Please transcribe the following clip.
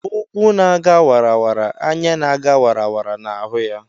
ụkwụ na ga wara; anya na ga wara na hụ ya